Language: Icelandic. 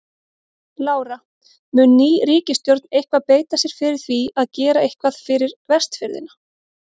Lára: Mun ný ríkisstjórn eitthvað beita sér fyrir því að gera eitthvað fyrir Vestfirðina?